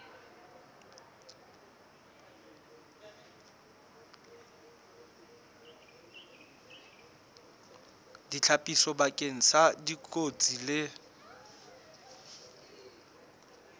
ditlhapiso bakeng sa dikotsi le